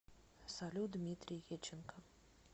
салют дмитрий еченко